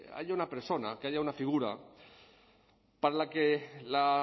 haya una persona que haya una figura para la que la